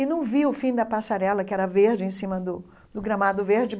E não vi o fim da passarela, que era verde, em cima do do gramado verde.